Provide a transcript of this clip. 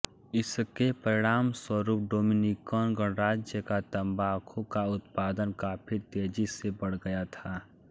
इसके परिणाम स्वरुप डोमिनिकन गणराज्य का तम्बाकू का उत्पादन काफी तेजी से बढ़ गया था